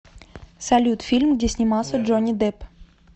салют фильм где снимался джони депп